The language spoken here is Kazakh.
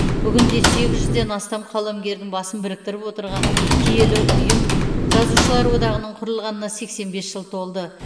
бүгінде сегіз жүзден астам қаламгердің басын біріктіріп отырған киелі ұйым жазушылар одағының құрылғанына сексен бес жыл толды